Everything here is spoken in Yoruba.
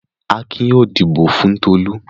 Akin yóò dìbò fún Tolú!